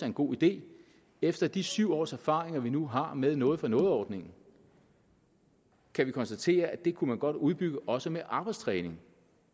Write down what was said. en god idé efter de syv års erfaringer vi nu har med noget for noget ordningen kan vi konstatere at den kunne man godt udbygge også med arbejdstræning